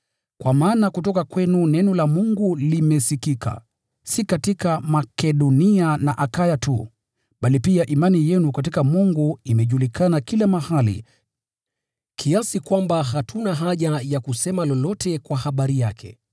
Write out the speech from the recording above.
Kwa maana kutoka kwenu neno la Bwana limesikika, si katika Makedonia na Akaya tu, bali pia imani yenu katika Mungu imejulikana kila mahali kiasi kwamba hatuna haja ya kusema lolote kwa habari yake.